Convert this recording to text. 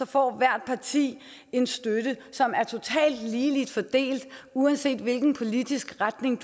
får hvert parti en støtte som er totalt ligeligt fordelt uanset hvilken politisk retning